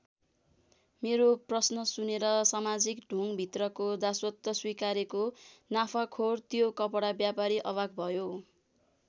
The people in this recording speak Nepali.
मेरो प्रश्न सुनेर समाजिक ढोङभित्रको दासत्व स्वीकारेको नाफाखोर त्यो कपडा व्यापारी अवाक भयो।